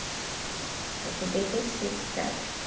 Para poder tecer, sabe?